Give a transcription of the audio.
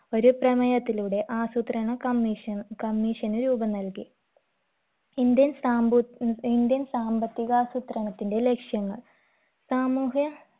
ഒരു പ്രമേയത്തിലൂടെ ആസൂത്രണ commissioncommision ന് രൂപം നൽകി indian സാംബു indian സാമ്പത്തികാസൂത്രണത്തിന്റെ ലക്ഷ്യങ്ങൾ സാമൂഹ്യ